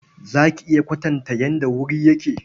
Za ki iya kwatanta yadda wuri yake?